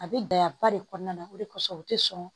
A bɛ gɛlɛya ba de kɔnɔna na o de kosɔn u tɛ sɔn